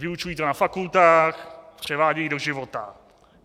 Vyučují to na fakultách, převádějí do života.